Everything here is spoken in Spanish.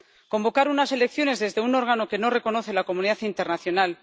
Convocar unas elecciones desde un órgano que no reconoce la comunidad internacional